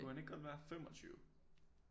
Kunne han ikke godt være 25